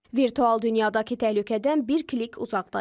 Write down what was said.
Virtual dünyadakı təhlükədən bir klik uzaqdayıq.